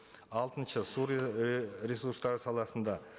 алтыншы су ресурстары саласында